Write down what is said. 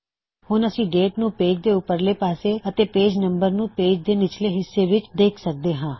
ਹੁਣ ਅਸੀ ਡੇਟ ਨੂੰ ਪੇਜ ਦੇ ਉਪਰਲੇ ਪਾਸੇ ਅਤੇ ਪੇਜ ਨੰਬਰ ਨੂੰ ਪੇਜ ਦੇ ਨਿਚਲੇ ਹਿੱਸੇ ਵਿੱਚ ਦੇਖ ਸਕਦੇ ਹਾ